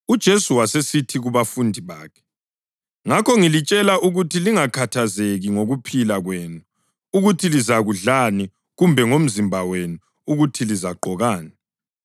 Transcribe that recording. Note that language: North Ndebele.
UJesu wasesithi kubafundi bakhe: “Ngakho ngilitshela ukuthi lingakhathazeki ngokuphila kwenu, ukuthi lizakudlani kumbe ngomzimba wenu, ukuthi lizagqokani.